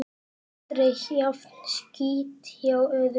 Aldrei jafn skítt hjá öðrum.